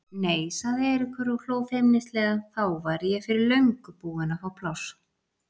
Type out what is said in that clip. Nei sagði Eiríkur og hló feimnislega, þá væri ég fyrir löngu búinn að fá pláss.